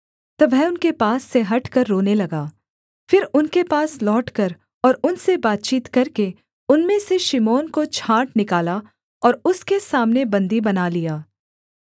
तब वह उनके पास से हटकर रोने लगा फिर उनके पास लौटकर और उनसे बातचीत करके उनमें से शिमोन को छाँट निकाला और उनके सामने उसे बन्दी बना लिया